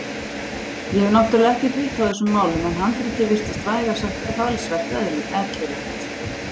Ég hef náttúrlega ekkert vit á þessum málum en handritið virtist vægast sagt talsvert ellilegt.